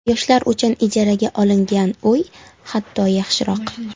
Yoshlar uchun ijaraga olingan uy hatto, yaxshiroq.